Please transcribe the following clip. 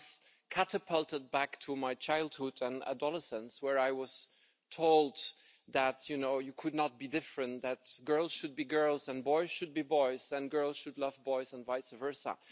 I was catapulted back to my childhood and adolescence, where I was told that you could not be different, that girls should be girls and boys should be boys, and girls should love boys and vice versa.